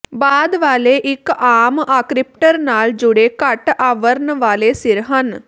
ਬਾਅਦ ਵਾਲੇ ਇੱਕ ਆਮ ਆਕ੍ਰਿਪਟਰ ਨਾਲ ਜੁੜੇ ਘੱਟ ਆਵਰਣ ਵਾਲੇ ਸਿਰ ਹਨ